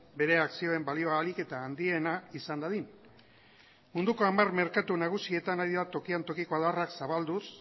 bere akzioen balioa ahalik eta handiena izan dadin munduko hamar merkatu nagusietan ari da tokian tokiko adarrak zabalduz